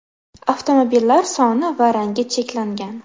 Avtomobillar soni va rangi cheklangan.